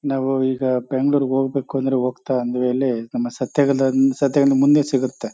ನಾವು ಈಗ ಬೆಂಗಳೂರು ಹೋಗಬೇಕು ಅಂದ್ರೆ ಹೋಗ್ತಾ ಆನ್ ದಿ ವೆ ಅಲ್ಲಿ ನಮ ಮುಂದೆ ಸಿಗುತ್ತೆ.